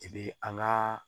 I bi an ka